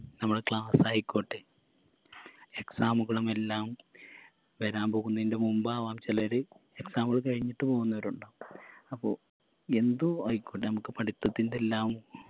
നമ്മളെ class ആയിക്കോട്ടെ exam കളും എല്ലാം വരാൻ പോകുന്നേൻറെ മുമ്പാവാം ചെലര് exam കൾ കഴിഞ്ഞിട്ട് പോവുന്നവരുമുണ്ടാകാം അപ്പൊ എന്തോ ആയിക്കോട്ടെ നമക്ക് പഠിത്തത്തിൻറെല്ലാം